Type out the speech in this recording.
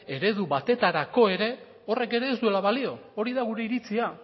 eredu batetarako ere horrek ere ez duela balio hori da gure iritzia